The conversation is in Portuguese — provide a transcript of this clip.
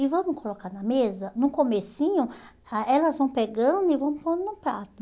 E vamos colocar na mesa, no comecinho, ah elas vão pegando e vão pondo no prato.